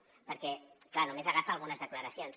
perquè clar només agafa algunes declaracions